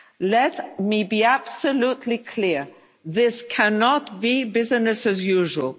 Let me be absolutely clear, this cannot be business as